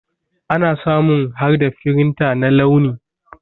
Ana samun harda firinta na launi.